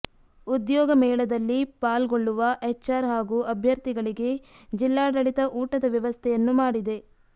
ಉದ್ಯೋಗ ಮೇಳೆದಲ್ಲಿ ಪಾಲ್ಗೊಳ್ಳುವ ಎಚ್ಆರ್ ಹಾಗೂ ಅಭ್ಯರ್ಥಿಗಳಿಗೆ ಜಿಲ್ಲಾಡಳಿತ ಊಟದ ವ್ಯವಸ್ಥೆಯನ್ನು ಮಾಡಿದೆ